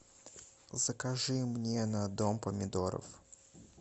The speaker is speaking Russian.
закажи мне на дом помидоров